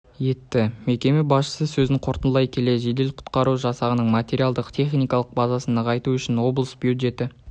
етті мекеме басшысы сөзін қорытындылай келе жедел-құтқару жасағының материалдық техникалық базасын нығайту үшін облыс бюджеті